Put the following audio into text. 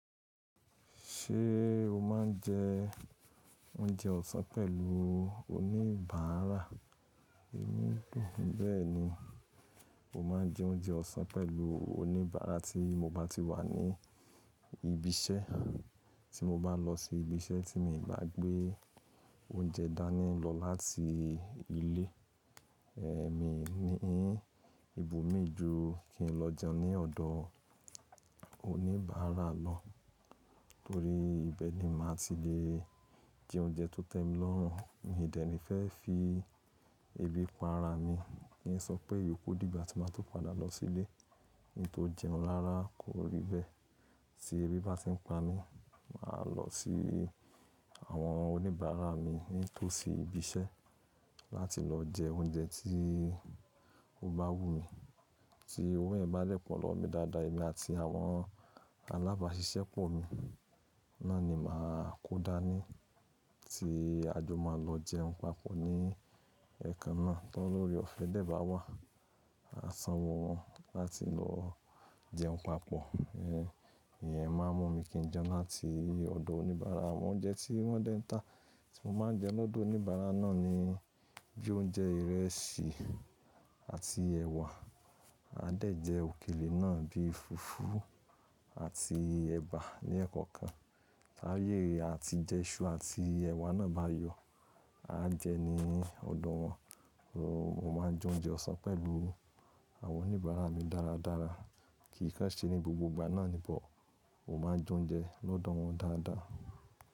Ṣé o máa ń jẹ oúnjẹ ọ̀sán pẹ̀lú oníbàárà? Bẹ̀eni mo máa ń jẹ oúnjẹ ọ̀sán pẹ̀lú oníbàárà tí mo bá ti wà ní ibi iṣẹ́. Tí mo bá lọ sí ibi iṣẹ́ tí mi ò bá gbé oúnjẹ dání lọ láti ilé, ẹ̀ mi ni í, ibù mi ju kí n lọ jẹun ní ọ̀dọ̀ oníbàárà lọ. Nítorí ibẹ̀ ni màá ti lè jẹ oúnjẹ tó tẹ́mi lọ́rùn, mi ò dẹ̀ ní fẹ́ fi ebi pa ara mi. Ní ìsọpẹ́ iyoku dìgbà tí màá tó padà lọ sílé, ohun tó jẹun rára kò rí bẹ́ẹ̀. Tí ebi bá ti ń pa mi, màá lọ sí àwọn oníbàárà mi nítòsí ibi iṣẹ́ láti lọ jẹ oúnjẹ tí ó bá wú mi. Tí owó yẹ̀m bá dẹ́ po lọ́wo mi dáadáa, èmi àti àwọn alábàáṣiṣẹ́ pọ̀ mi, náà ni màá kó dání. Tí a jọ máa lọ jẹun papọ̀ ní ẹka náà tó óre ọ̀fẹ́ dẹ́ bá wà, à sanwó wọn láti lọ jẹun papọ̀. Ẹ̀hẹ́n, ìyẹn máa ń mú mi kí n jẹun láti ọ̀dọ̀ oníbàárà. Àwọn oúnjẹ tí wọ́n dẹ́ ń tà tí mo máa ń jẹ lọ́dọ̀ oníbàárà náà ni bí i oúnjẹ ìrẹsì àti ẹ̀wà. A dẹ̀ jẹ òkèlè náà bí i fùfú àti ẹ̀bà ní ekọ̀ọ̀kan. Táyé àti jẹṣu àti ẹ̀wà náà bá yọ, a jẹ ní ọ̀dọ̀ wọn. Mo máa ń jẹ oúnjẹ ọ̀sán pẹ̀lú àwọn oníbàárà mi dáradára. Kì í ko ṣe ní gbogbo ìgbà náà ni bọ̀, mo máa ń jẹ oúnjẹ lọ́dọ̀ wọn dáadáa.